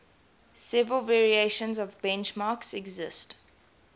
several variations of benchmarks exist